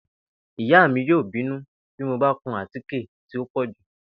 Ìyá mi yóò bínú bí mo bá kun àtíkè tí ó pò̩ jù